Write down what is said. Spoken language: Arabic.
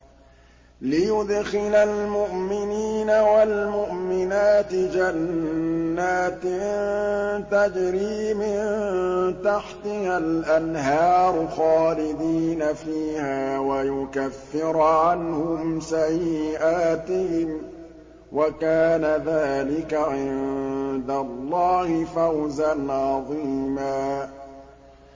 لِّيُدْخِلَ الْمُؤْمِنِينَ وَالْمُؤْمِنَاتِ جَنَّاتٍ تَجْرِي مِن تَحْتِهَا الْأَنْهَارُ خَالِدِينَ فِيهَا وَيُكَفِّرَ عَنْهُمْ سَيِّئَاتِهِمْ ۚ وَكَانَ ذَٰلِكَ عِندَ اللَّهِ فَوْزًا عَظِيمًا